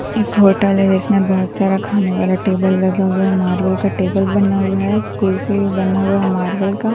एक होटल है जिसमें बहुत सारा खाना वाले टेबल लगा हुआ है मार्बल का टेबल बना हुआ है कुर्सी भी बना हुआ है मार्बल का --